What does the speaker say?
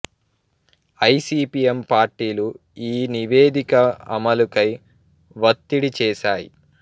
I C P M పార్టీలు ఈ నివేదిక అమలుకై వత్తిడి చేసాయి